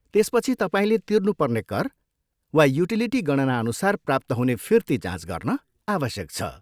त्यसपछि तपाईँले तिर्नुपर्ने कर वा युटिलिटी गणनाअनुसार प्राप्त हुने फिर्ती जाँच गर्न आवश्यक छ।